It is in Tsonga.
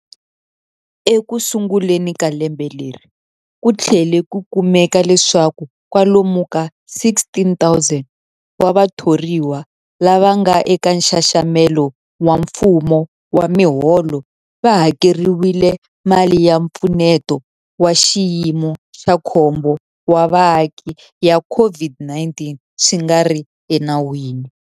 Ekusunguleni ka lembe leri, ku tlhele ku kumeka leswaku kwalomu ka 16,000 wa vatho riwa lava nga eka nxaxamelo wa mfumo wa miholo va hakeriwile mali ya Mpfuneto wa Xiyimo xa Khombo wa Vaaki ya COVID-19 swi nga ri enawini.